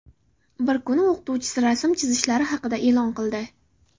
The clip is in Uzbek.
Bir kuni o‘qituvchisi rasm chizishlari haqida eʼlon qildi.